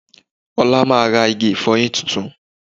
Olá máa ra igi ìfọyín tuntun